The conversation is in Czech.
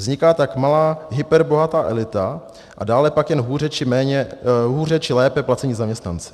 Vzniká tak malá hyperbohatá elita a dále pak jen hůře či lépe placení zaměstnanci.